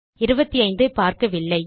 25 ஐ பார்க்கவில்லை